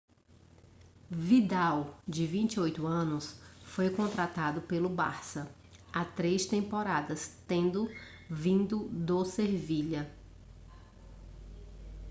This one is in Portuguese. vidal de 28 anos foi contratado pelo barça há três temporadas tendo vindo do sevilha